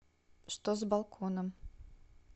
что с балконом